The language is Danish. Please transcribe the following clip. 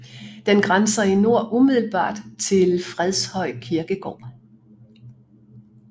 Den grænser i nord umiddelbart til Fredshøj Kirkegård